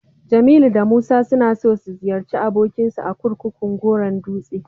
Jamilu da Musa suna so su ziyarci abokinsu a kurkukun Goron dutse.